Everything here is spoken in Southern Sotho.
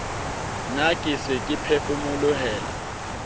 ne ke se ke phefomolohela